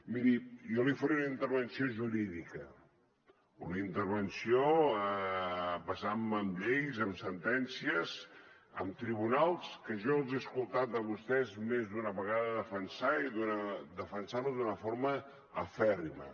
miri jo li faré una intervenció jurídica una intervenció basant me en lleis en sentències en tribunals que jo els he escoltat de vostès més d’una vegada defensar i defensar los d’una forma acèrrima